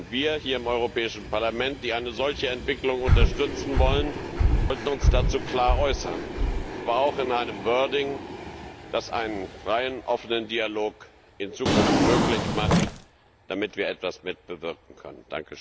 Wir hier im Europäischen Parlament, die eine solche Entwicklung unterstützen wollen, sollten uns dazu klar äußern, aber auch in einem wording das einen freien, offenen Dialog in Zukunft möglich macht, damit wir etwas mitbewirken können.